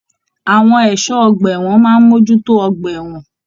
Àwọn ẹṣọ ọgbà ẹwọn máa n mojútó ọgbà ẹwọn.